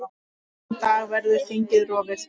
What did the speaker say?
Þann dag verður þingið rofið.